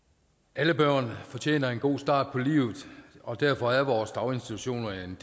alle børn fortjener en god start på livet og derfor er vores daginstitutioner en